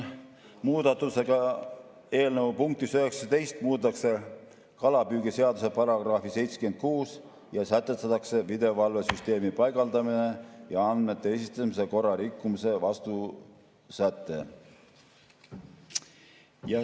Muudatusega eelnõu punktis 19 muudetakse kalapüügiseaduse § 76 ja sätestatakse videovalvesüsteemi paigaldamise ja andmete esitamise korra rikkumise vastutussäte.